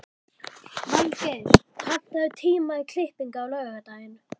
Valgeir, pantaðu tíma í klippingu á laugardaginn.